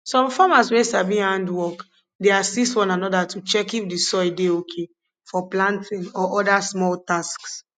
some farmers wey sabi handwork dey assist one another to check if the soil dey okay for planting or other small tasks